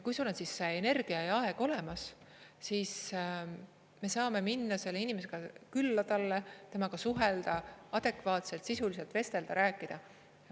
Kui sul on energia ja aeg olemas, siis me saame minna sellele inimesele külla, temaga suhelda, adekvaatselt, sisuliselt vestelda, rääkida.